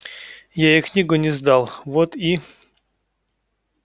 я ей книгу не сдал вот и